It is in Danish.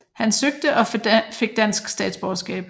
Han søgte og fik dansk statsborgerskab